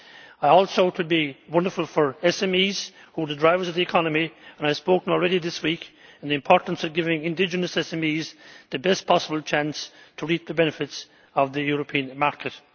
I also think it will be wonderful for SMEs who are the drivers of the economy, and I have spoken already this week on the importance of giving indigenous SMEs the best possible chance to reap the benefits of the European market.